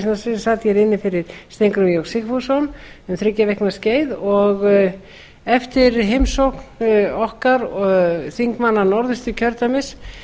sem sat hér inni fyrir steingrím j sigfússon um þriggja vikna skeið eftir heimsókn okkar þingmanna norðausturkjördæmis